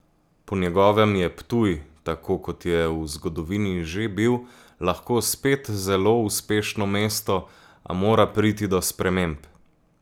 Po njegovem je Ptuj, tako kot je v zgodovini že bil, lahko spet zelo uspešno mesto, a mora priti do sprememb.